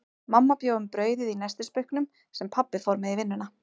Mamma bjó um brauðið í nestisbauknum, sem pabbi fór með í vinnuna.